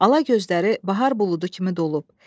Ala gözləri bahar buludu kimi dolub.